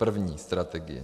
První strategie.